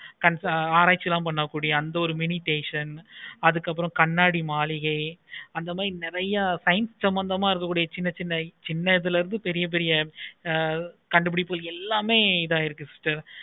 antha oru mini station நீ எனக்கே என்னமோ எப்பக்கம் வருது இதுல என்னென்ன science சமந்தா பட்டது நெறைய எப்படி பெரிய பெரிய கண்டுபிடிப்புகள் எல்லாம் இருக்கு sister